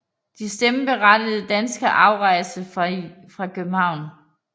De stemmeberettigede danske afrejser fra København